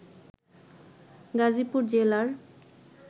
গাজীপুর জেলার